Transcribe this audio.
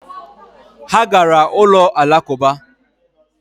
Ha gara ụlọ Alakụba